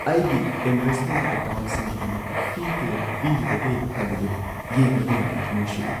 ꯑꯩꯒꯤ ꯏꯟꯚꯦꯁꯠꯃꯦꯟꯠ ꯑꯦꯀꯥꯎꯟꯠꯁꯤꯡꯒꯤꯗꯃꯛ ꯐꯤ ꯀꯌꯥ ꯄꯤꯔꯤꯕꯒꯦ ꯍꯥꯏꯕꯗꯨ ꯌꯦꯡꯕꯗ ꯌꯥꯝꯅ ꯊꯃꯣꯏ ꯁꯣꯛꯏ ꯫